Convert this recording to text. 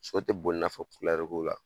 So tɛ boli i n'a fɔ ko la